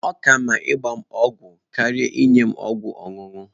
Ọ ka mma ịgba m ọgwụ karịa inye m ọgwụ ọṅụṅụ.